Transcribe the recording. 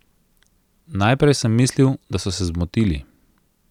Najprej sem mislil, da so se zmotili.